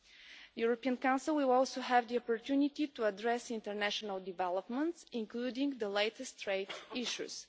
The European Council will also have the opportunity to address international developments, including the latest trade issues.